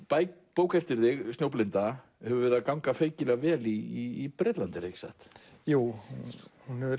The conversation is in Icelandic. bók eftir þig hefur gengið feikilega vel í Bretlandi ekki satt jú hún hefur